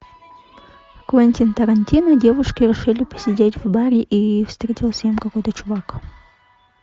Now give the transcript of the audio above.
квентин тарантино девушки решили посидеть в баре и встретился им какой то чувак